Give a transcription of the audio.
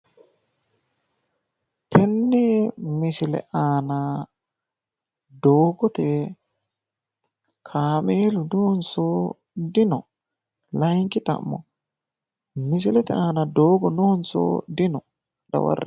Tenne misile. aana doogoye kaameelu noonso dino? Layinki xa'mo misilete. aan doogo noonso dino? Dawarre.